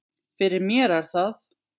Fyrir mér er það